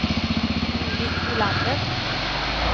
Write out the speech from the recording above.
Judit Olander